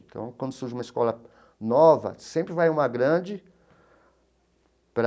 Então, quando surge uma escola nova, sempre vai uma grande para...